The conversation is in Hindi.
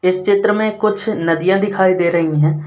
इस चित्र में कुछ नदियां दिखाई दे रही हैं।